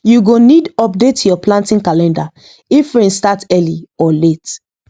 you go need update your planting calendar if rain start early or late